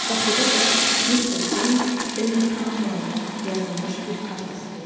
Qapıda da Mr. James Dillingham Young yazılmış bir kart asılı idi.